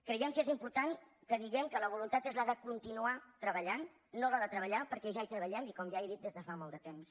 creiem que és important que diguem que la voluntat és la de continuarballant no la de treballar perquè ja hi treballem i com ja he dit des de fa molt de temps